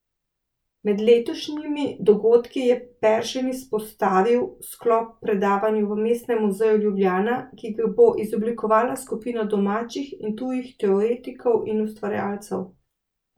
Med letošnjimi dogodki je Peršin izpostavil sklop predavanj v Mestnem muzeju Ljubljana, ki ga bo izoblikovala skupina domačih in tujih teoretikov in ustvarjalcev.